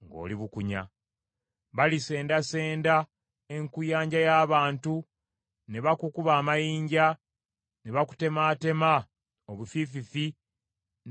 Balisendasenda enkuyanja y’abantu, ne bakukuba amayinja, ne bakutemaatema obufiififi n’ebitala byabwe.